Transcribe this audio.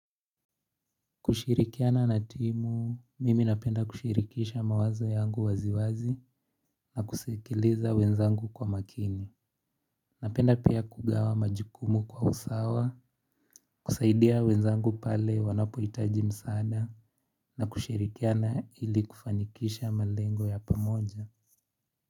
Kushirikiana na timu, mimi napenda kushirikisha mawazo yangu waziwazi na kusekileza wenzangu kwa makini. Napenda pia kugawa majukumu kwa usawa, kusaidia wenzangu pale wanapohitaji msada na kushirikiana ili kufanikisha malengo ya pamoja.